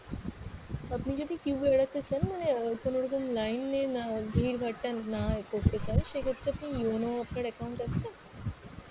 আপনি যদি queue এড়াতে চান মানে অ্যাঁ কোনোরকম line এ না ভিড়-ভাট্টা না এ করতে চান সেক্ষেত্রে আপনি yono আপনার account আছে?